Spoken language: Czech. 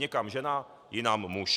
Někam žena, jinam muž.